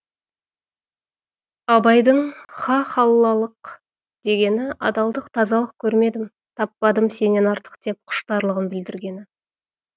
абайдың ха халаллық дегені адалдық тазалық көрмедім таппадым сенен артық деп құштарлығын білдіргені